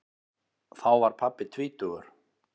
Þá var pabbi tvítugur.